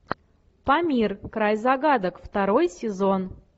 памир край загадок второй сезон